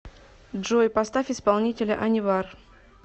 джой поставь исполнителя анивар